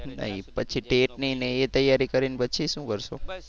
પછી tet ની ને એ તૈયારી કરી ને પછી શું કરશો?